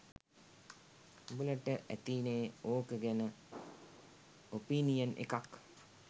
උඹලට ඇතිනේ ඕක ගැන "ඔපිනියන්" එකක්.